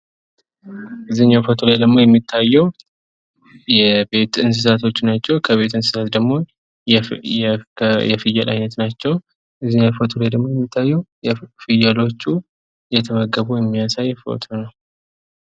ከዚህኛው ፎቶ ላይ የሚታየው የቤት እንስሳዎች ናቸው። ከቤት እንስሳት ደግሞ የፍየል አይነት ናቸው ።ከዚህኛው ፎቶ ደግሞ የሚታየው ፍየሎቹ እየተመገቡ የሚያሳይ ፎቶ ነው